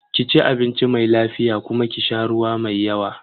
Ki ci abinci mai lafiya kuma ki sha ruwa mai yawa.